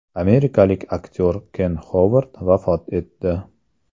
Amerikalik aktyor Ken Xovard vafot etdi.